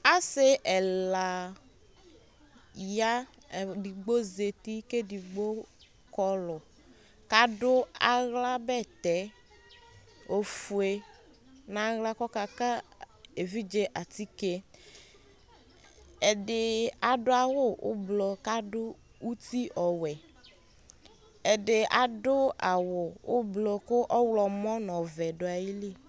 Asi ɛla ya Edigbo zeti, kedigbo kɔlu kadʋ aɣla bɛtɛ ofue naɣla kɔkaka evidze atikeƐdi adʋ awu ublu kadʋ uti ɔwɛƐdi adʋ awu ublu kʋ ɔɣlɔmɔ nɔvɛ duayili